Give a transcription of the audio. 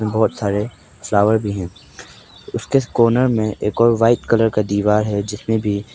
बहुत सारे फ्लावर भी हैं उसके कॉर्नर में एक और वाइट कलर का दीवार है जिसमें भी--